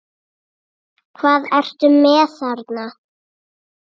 Hvað ertu með þarna?